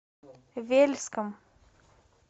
вельском